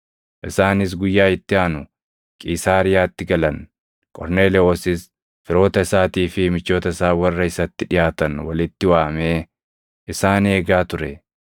Isaanis guyyaa itti aanu Qiisaariyaatti galan; Qorneelewoosis firoota isaatii fi michoota isaa warra isatti dhiʼaatan walitti waamee isaan eegaa ture.